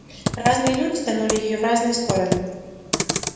разные люди тянули её в разные стороны